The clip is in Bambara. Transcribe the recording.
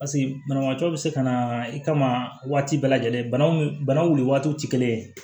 paseke banabaatɔ be se ka na i kama waati bɛɛ lajɛlen bana mun bana wuli waati ye